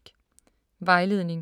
Vejledning: